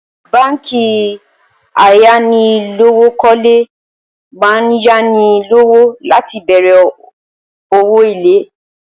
Báǹkì ayánilówókó̩lé máa ń yáni lowo láti bè̩rè̩ òwò ilé.